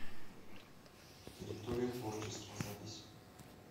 территория творчества запись